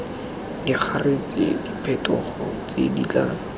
diragatse diphetogo tse di tla